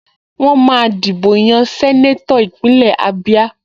Wọ́n máa dìbò yan sẹ́nétọ̀ Ìpínlẹ̀ Ábíá